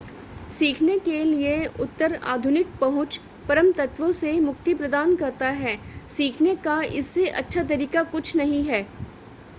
सीखने के लिए उत्तर आधुनिक पहुंच परम तत्वों से मुक्ति प्रदान करता है सीखने का इससे अच्छा तरीका कुछ नहीं है